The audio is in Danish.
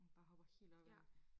Der hopper helt op ad dig